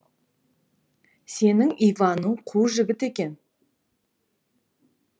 сенің иваның қу жігіт екен